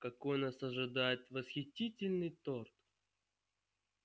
какой нас ожидает восхитительный торт